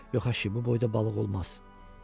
Yox, axı, bu boyda balıq olmaz.